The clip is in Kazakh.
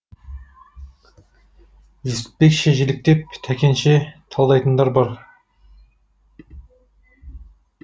жүсіпбекше жіліктеп тәкенше талдайтындар бар